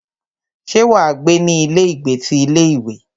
Ṣé wà á gbé ní ilé ìgbé ti ilé ìwé?